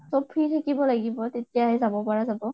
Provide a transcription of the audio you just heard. চব free থাকিব লাগিব তেতিয়াহে যাব পৰা যাব